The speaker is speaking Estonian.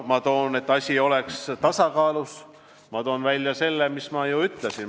Et asi oleks tasakaalus, toon ma veel kord välja selle, mida ma juba ütlesin.